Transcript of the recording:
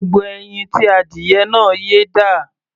Gbogbo ẹyin tí adìyẹ náà yé dà?